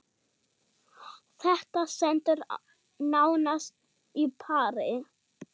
Þetta stendur nánast á pari.